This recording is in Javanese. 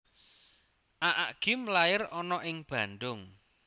Aa Gym lair ana ing Bandung